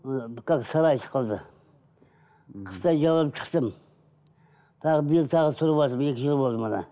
ы қазір сарай сықылды қыстай жаурап шықтым тағы биыл тағы тұрватырмын екі жыл болды мына